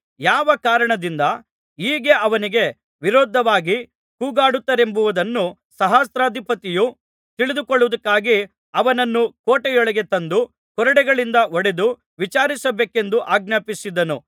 ಯಾವ ಕಾರಣದಿಂದ ಹೀಗೆ ಅವನಿಗೆ ವಿರುದ್ಧವಾಗಿ ಕೂಗಾಡುತ್ತಾರೆಂಬುದನ್ನು ಸಹಸ್ರಾಧಿಪತಿಯು ತಿಳಿದುಕೊಳ್ಳುವುದಕ್ಕಾಗಿ ಅವನನ್ನು ಕೋಟೆಯೊಳಗೆ ತಂದು ಕೊರಡೆಗಳಿಂದ ಹೊಡೆದು ವಿಚಾರಿಸಬೇಕೆಂದು ಆಜ್ಞಾಪಿಸಿದನು